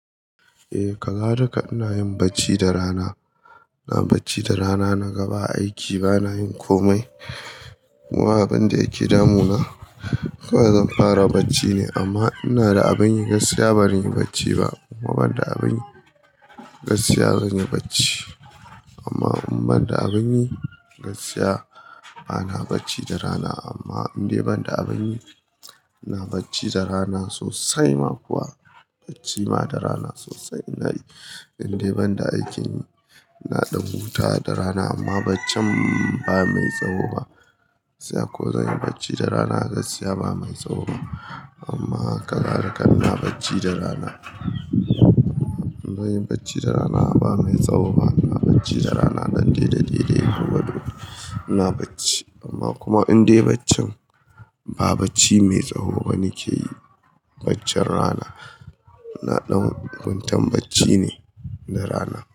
Eh ka ga da kai ina yin bacci da rana. Ina bacci da rana naga ba aiki bana yin komai. Wa abin da yake damuna. Kawai zan fara bacci ne amma ina da abin yi gaskiya baran yi bacci ba. In ban da abin yi gaskiya zan yi bacci. Amma in ban da abin yi gaskiya bana bacci da rana amma in dai ban da abin yi ina bacci da rana sosai ma kuwa bacci ma da rana sosai. Ina yi in dai ban da aikin na ɗan huta da rana amma bacci ba mai tsawo ba. Gaskiya ko zan yi bacci da rana gaskiya ba mai tsawo ba. Amma ka ga da ka ina bacci da rana. Zan yi bacci da rana ba mai tsawo ba. Ina bacci da rana ɗan daidai, daidai kuma dole ina bacci. Amma kuma in dai baccin ba bacci mai tsawo ba nake yi bacci rana. Na ɗan kwantan bacci ne da rana.